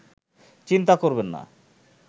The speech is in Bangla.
চিন্তা করবেন না